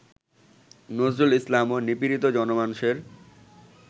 নজরুল ইসলামও নিপীড়িত জনমানসের